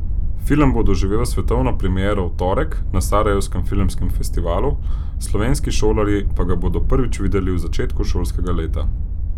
Film bo doživel svetovno premiero v torek na Sarajevskem filmskem festivalu, slovenski šolarji pa ga bodo prvič videli v začetku šolskega leta.